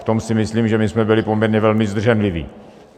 V tom si myslím, že my jsme byli poměrně velmi zdrženliví.